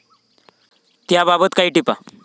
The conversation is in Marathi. त्याबाबत काही टिपा